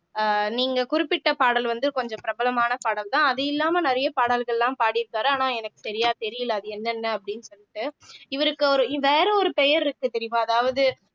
அஹ் நீங்க குறிப்பிட்ட பாடல் வந்து கொஞ்சம் பிரபலமான பாடல்தான் அது இல்லாம நிறைய பாடல்கள் எல்லாம் பாடியிருக்காரு ஆனா எனக்கு சரியா தெரியலே அது என்னென்ன அப்படின்னு சொல்லிட்டு இவருக்கு ஒரு வேற ஒரு பெயர் இருக்கு தெரியுமா அதாவது